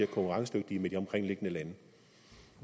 konkurrenceevne yderligere